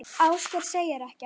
Ásgeir segir ekkert.